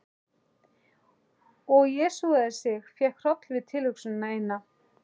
Og jesúsaði sig, fékk hroll við tilhugsunina eina.